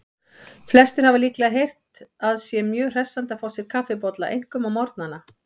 Flestir hafa líklega heyrt að sé mjög hressandi að fá sér kaffibolla, einkum á morgnana.